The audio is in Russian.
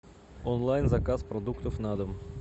онлайн заказ продуктов на дом